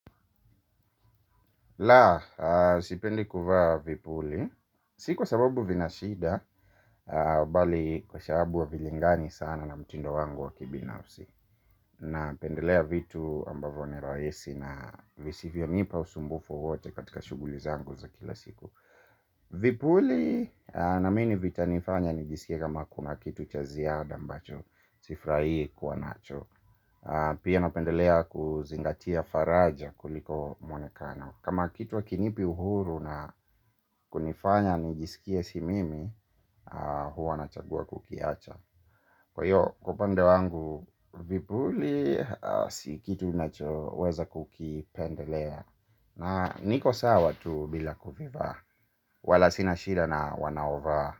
La, sipendi kuvaa vipuli. Si kwa sababu vina shida. Bali kwa sababu havilingani sana na mtindo wangu wa kibinafsi. Napendelea vitu ambavyo ni rahisi na visivyo nipa usumbufu wote katika shughuli zangu za kila siku. Vipuli naamini vitanifanya nijisikie kama kuna kitu cha ziada ambacho sifurahii kuwa nacho. Pia napendelea kuzingatia faraja kuliko mwonekano. Kama kitu hakinipi uhuru na kunifanya nijisikie si mimi. Huwa nachagua kukiacha. Kwa hio upande wangu. Vipuli si kitu ninachoweza kukipendelea. Na niko sawa tu bila kuvivaa. Wala sina shida na wanaovaa.